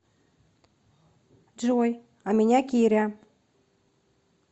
джой а меня киря